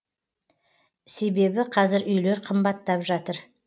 себебі қазір үйлер қымбаттап жатыр